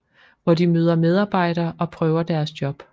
Hvor de møder medarbejdere og prøver deres job